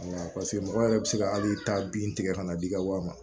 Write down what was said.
Awɔ paseke mɔgɔ yɛrɛ bɛ se ka hali taa bin tigɛ ka na d'i ka wa ma